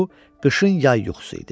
Bu qışın yay yuxusu idi.